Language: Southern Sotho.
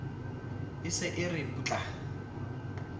e se e re putla